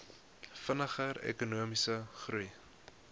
vinniger ekonomiese groei